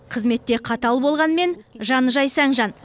қызметте қатал болғанымен жаны жайсаң жан